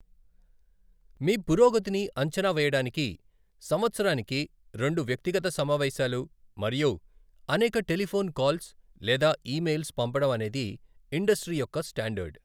మీ పురోగతిని అంచనా వేయడానికి సంవత్సరానికి రెండు వ్యక్తిగత సమావేశాలు మరియు అనేక టెలిఫోన్ కాల్స్ లేదా ఇమెయిల్స్ పంపడం అనేది ఇండస్ట్రీ యొక్క స్టాండర్డ్.